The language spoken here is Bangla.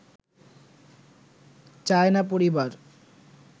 চায় না পরিবার